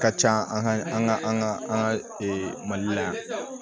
Ka ca an ka an ka an ka an ka mali la yan